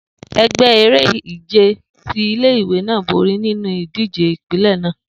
Egbe ere-ije ti ile-iwe naa bori ninu idije ipinlẹ naa